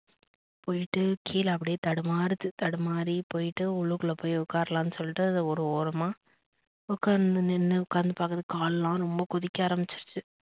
போய்ட்டு கிழ அப்டியே தடுமாறுது. தடுமாறி போய்ட்டு உள்ளுக்குள்ள போய் ஒக்காரலாம் சொல்லிட்டு அது ஒரு ஓரமா ஒகாந்து நின்னு ஒகாந்து பாக்குது கால்லாம் ரொம்ப கொதிக்க ஆரமிச்சிடுச்சு